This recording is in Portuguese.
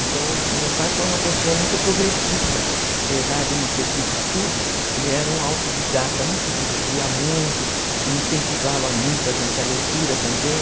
Então meu pai foi uma pessoa muito progressista, apesar de não ter tido estudo, ele era um autodidata, né, como se diz, lia muito e incentivava muito a gente a leitura também.